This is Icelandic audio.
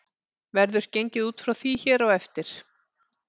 Verður gengið út frá því hér á eftir.